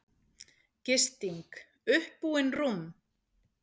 Gisting: Uppbúin rúm